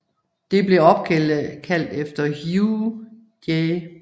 Det blev opkaldt efter Hugh J